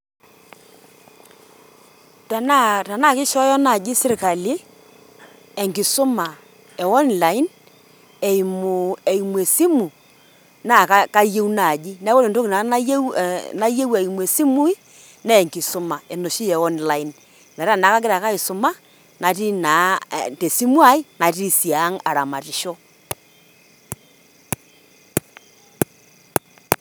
Tenaa tenaake ishoyo naaji sirkali enkisuma e online eimu eimu esimu, naake kayeu naaji. Neeku kore entoki nanu nayeu eimu esimu naa enkisuma enoshi e online metaa neeku agira ake aisuma natii naa te simu ai, nati sii ang' aramatisho.